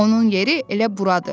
Onun yeri elə buradır.